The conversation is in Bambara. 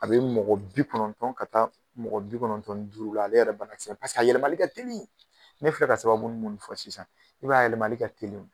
A bɛ mɔgɔ bi kɔnɔntɔn ka taa mɔgɔ bi kɔnɔntɔn ni duuru la, ale yɛrɛ banakisɛ paseke a yɛlɛmani ka teli ,ne filɛ ka sababu minnu fɔ sisan i b'a ye a yɛlɛmani ka teli.